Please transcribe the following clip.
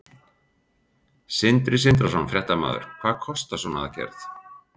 Sindri Sindrason, fréttamaður: Hvað kostar svona aðgerð?